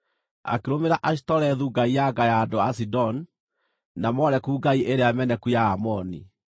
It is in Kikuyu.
Akĩrũmĩrĩra Ashitorethu ngai ya nga ya andũ a Sidoni, na Moleku ngai ĩrĩa meneku ya Aamoni.